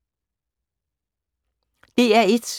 DR1